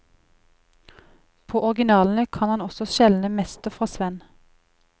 På originalene kan han også skjelne mester fra svenn.